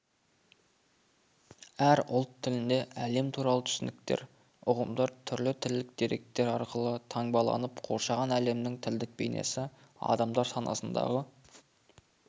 әр ұлт тілінде әлем туралы түсініктер ұғымдар түрлі тілдік деректер арқылы таңбаланып қоршаған әлемнің тілдік бейнесі адамдар санасындағы